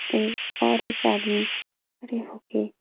ऐ और एक आदमी खड़े होके --